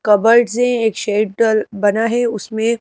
cupboard से एक shed डलबना है उसमें--